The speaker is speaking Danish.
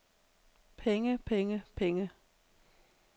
penge penge penge